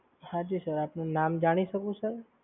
હા જી સર આપનું નામ જાણી શકું સર?